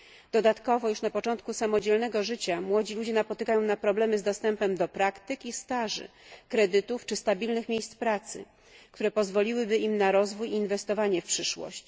Dodatkowo już na początku samodzielnego życia młodzi ludzie napotykają na problemy z dostępem do praktyk i staży, kredytów czy stabilnych miejsc pracy, które pozwoliłyby im na rozwój i inwestowanie w przyszłość.